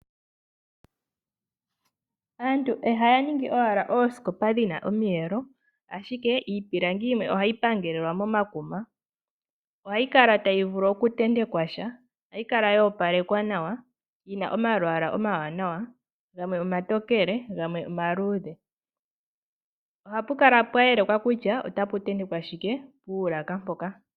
Aantu ihaya ningi wala oosikopa dhina omiyelo ashike iipilangi yimwe ohayi pangelelelwa momakuma ,ohayi kala tayi vulu okuntentekwasha ohayi kala yo opalekwa nawa yina omalwaala omawanawa gamwe omatokele gamwe omaluudhe ohapu kala pwa yelekwa kutya otapu ntentekwa shike puulaka mpoka.